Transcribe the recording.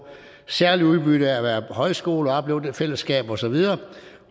særligt udbytte af at være højskole og opleve det fællesskab osv